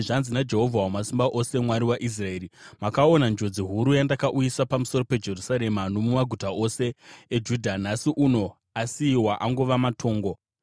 “Zvanzi naJehovha Wamasimba Ose, Mwari waIsraeri: Makaona njodzi huru yandakauyisa pamusoro peJerusarema nomumaguta ose eJudha. Nhasi uno asiyiwa angova matongo